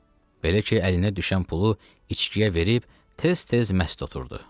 Belə ki, əlinə düşən pulu içkiyə verib tez-tez məst otururdu.